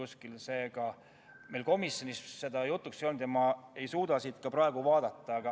Seega seda teemat meil komisjonis jutuks ei olnud.